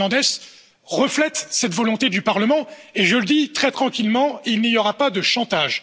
Fernandes, reflètent cette volonté du Parlement et je le dis très tranquillement il n'y aura pas de chantage.